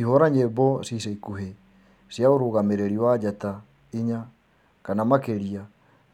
ihura nyĩmbo cĩa ĩca ĩkũhĩ cĩa urugamiriri wa njata ĩnya kana makiria